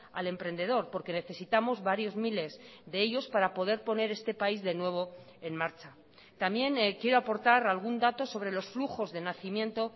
al emprendedor porque necesitamos varios miles de ellos para poder poner este país de nuevo en marcha también quiero aportar algún dato sobre los flujos de nacimiento